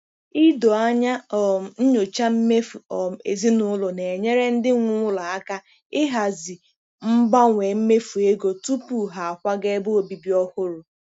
Ido anya um nyochaa mmefu um ezinụlọ na-enyere ndị nwe ụlọ aka ịhazi mgbanwe mmefu ego tupu ha akwaga ebe obibi ọhụrụ.